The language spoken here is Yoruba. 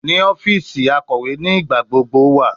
Ni ọfiisi, akọwe nigbagbogbo wa